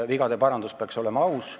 Vigade parandus peaks olema aus.